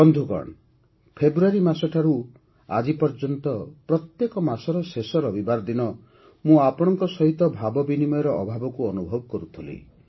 ବନ୍ଧୁଗଣ ଫେବୃଆରୀ ଠାରୁ ଆଜି ପର୍ଯ୍ୟନ୍ତ ପ୍ରତ୍ୟେକ ମାସର ଶେଷ ରବିବାର ଦିନ ମୁଁ ଆପଣଙ୍କ ସହିତ ଭାବବିନିମୟର ଅଭାବକୁ ଅନୁଭବ କରୁଥିଲି